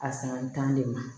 A san tan de ma